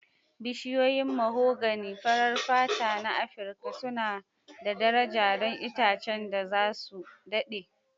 Bishiyoyin mahogany farar fata na Afirka suna da daraja don itacen da za su daɗe.